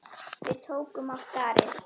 Við tókum af skarið.